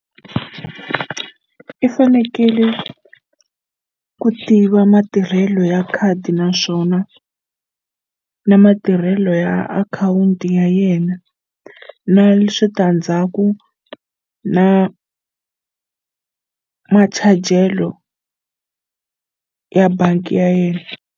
I fanekele ku tiva matirhelo ya khadi naswona na matirhelo ya akhawunti ya ya yena na switandzhaku na machajelo ya bangi ya yena.